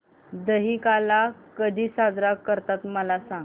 दहिकाला कधी साजरा करतात मला सांग